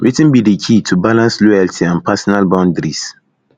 wetin be di key to balance loyalty and personal boundaries